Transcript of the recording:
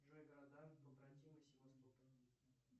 джей города побратимы севастополя